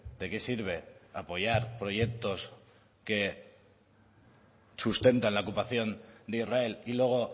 de qué sirve apoyar proyectos que sustentan la ocupación de israel y luego